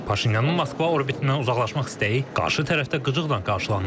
Paşinyanın Moskva orbitindən uzaqlaşmaq istəyi qarşı tərəfdə qıcıqla qarşılanır.